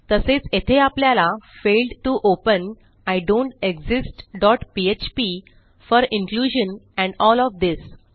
तसेच येथे आपल्याला failed to open I don't exist dot PHP for inclusion and L O F this